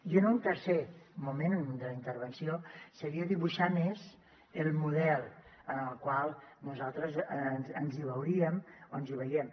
i un tercer moment de la intervenció seria dibuixar més el model en el qual nosaltres ens hi veuríem o ens hi veiem